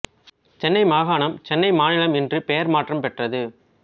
சென்னை மாகாணம் சென்னை மாநிலம் என்று பெயர் மாற்றம் பெற்றது